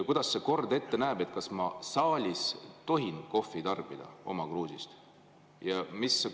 Kuidas kord ette näeb, kas ma saalis tohin kohvi tarbida oma kruusist?